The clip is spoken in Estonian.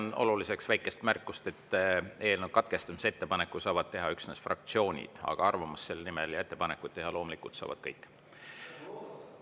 Pean oluliseks väikest märkust, et eelnõu katkestamise ettepaneku saavad teha üksnes fraktsioonid, aga arvamust avaldada ja ettepanekuid teha loomulikult saavad kõik.